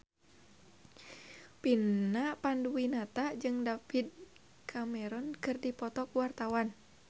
Vina Panduwinata jeung David Cameron keur dipoto ku wartawan